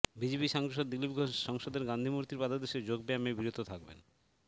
BJP সাংসদ দিলীপ ঘোষ সংসদের গাঁধী মূর্তির পাদদেশে যোগ ব্যায়ামে বিরত থাকবেন